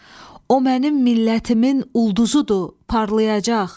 O mənim millətimin ulduzudur, parlayacaq.